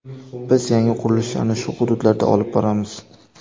Biz yangi qurilishlarni shu hududlarda olib boramiz.